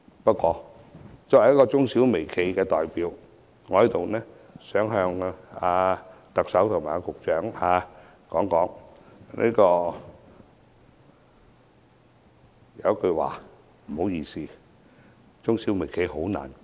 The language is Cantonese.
不過，作為中小微企的代表，我想在此跟特首和局長說一句話，不好意思，中小微企啃不下。